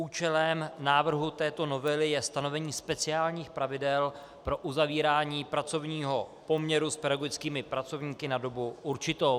Účelem návrhu této novely je stanovení speciálních pravidel pro uzavírání pracovního poměru s pedagogickými pracovníky na dobu určitou.